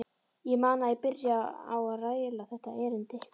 Ég man að ég byrjaði á að raula þetta erindi